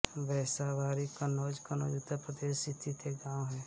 बैसाबारी कन्नौज कन्नौज उत्तर प्रदेश स्थित एक गाँव है